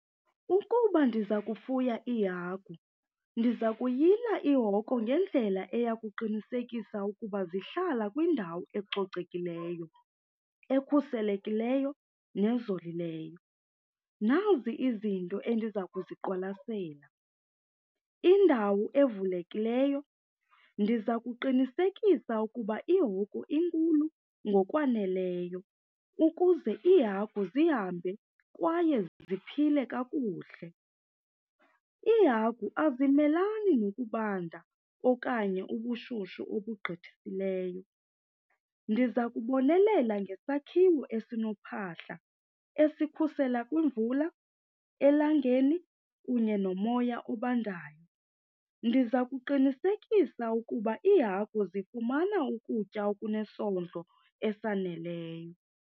Ukuba ndiza kufuya iihagu, ndiza kuyila ihoko ngendlela eya kuqinisekisa ukuba zihlala kwindawo ecocekileyo, ekhuselekileyo nezolileyo. Nazi izinto endiza kuziqwalasela, indawo evulekileyo. Ndiza kuqinisekisa ukuba ihoko inkulu ngokwaneleyo ukuze iihagu zihambe kwaye ziphile kakuhle. Iihagu azimelani nokubanda okanye ubushushu obugqithisileyo. Ndiza kubonelela ngesakhiwo esinophahla esikhusela kwimvula, elangeni kunye nomoya obandayo. Ndiza kuqinisekisa ukuba iihagu zifumana ukutya okunesondlo esaneleyo.